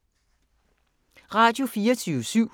Radio24syv